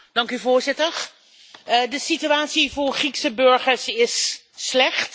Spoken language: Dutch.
Voorzitter, de situatie voor Griekse burgers is slecht.